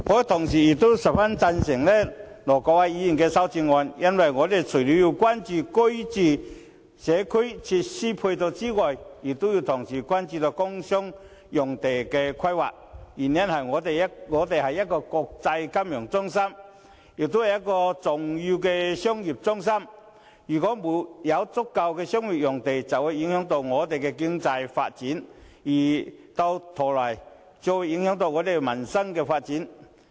同時，我亦十分贊成盧偉國議員的修正案，因為我們除了要關注住屋及社區設施配套外，還要同時關注工商業用地的規劃，原因是香港是一個國際金融中心，也是重要的商業中心，沒有足夠的商業用地供應，會影響我們的經濟發展，繼而影響我們的民生發展。